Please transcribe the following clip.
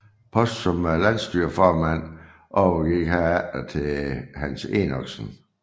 Posten som landsstyreformand overgik herefter til Hans Enoksen